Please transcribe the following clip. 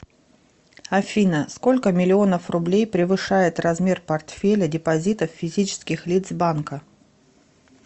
афина сколько миллионов рублей превышает размер портфеля депозитов физических лиц банка